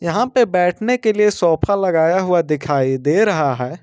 यहां पे बैठने के लिए सोफा लगाया हुआ दिखाई दे रहा है।